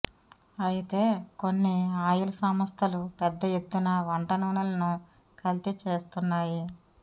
అయతే కొన్ని ఆయిల్ సంస్థలు పెద్ద ఎత్తున వంటనూనెలను కల్తీ చేస్తున్నాయి